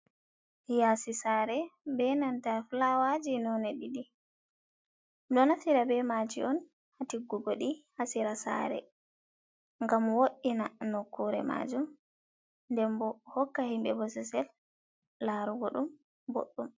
Yaasi saare bee nanta fulaawaaji noone ɗiɗi, ɗo nafira bee maajum on haa tiggugo ɗi haa sira saare ngam wo''ina nokukure maajum nden boo hokka himɓe bosesel laarugo ɗum boɗdum.